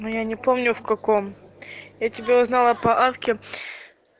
но я не помню в каком я тебя узнала по авке